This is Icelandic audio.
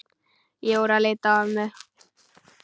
Jóra leit á ömmu.